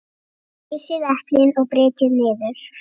Flysjið eplin og brytjið niður.